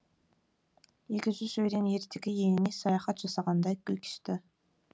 екі жүз өрен ертегі еліне саяхат жасағандай күй кешті